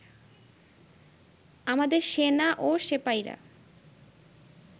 আমাদের সেনা ও সেপাইরা